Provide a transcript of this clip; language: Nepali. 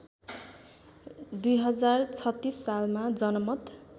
२०३६ सालमा जनमत